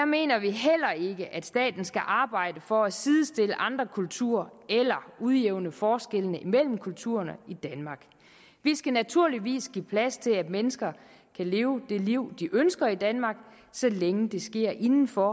mener vi heller ikke at staten skal arbejde for at sidestille andre kulturer eller udjævne forskellene mellem kulturerne i danmark vi skal naturligvis give plads til at mennesker kan leve det liv de ønsker i danmark så længe det sker inden for